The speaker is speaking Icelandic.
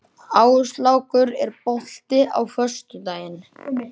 Áslákur, er bolti á föstudaginn?